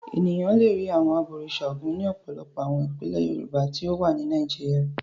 Ènìyàn le rí àwọn abọ̀rìṣà Ògún ní ọ̀pọ̀lọpọ̀ àwọn ìpínlẹ̀ Yorùbá tí ó wà ní Nàìjíríà.